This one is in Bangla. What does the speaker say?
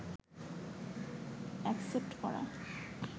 অ্যাকসেপ্ট করা